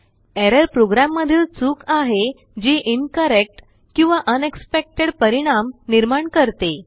Errorप्रोग्राममधील चूक आहे जीincorrectकिंवाunexpectedपरिणाम निर्माण करते